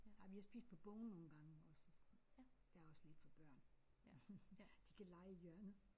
Ej vi har spist på Bones nogle gange også og sådan. Der er også lidt for børn de kan lege i hjørnet